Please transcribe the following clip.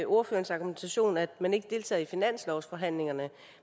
ordførerens argumentation er at man ikke deltager i finanslovsforhandlingerne